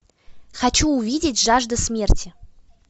хочу увидеть жажда смерти